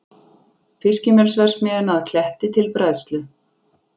Fiskimjölsverksmiðjuna að Kletti til bræðslu.